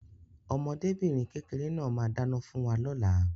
Ọmọdébìnrin kékeré náà máa dáná fún wa lóla.